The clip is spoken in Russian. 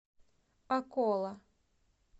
акола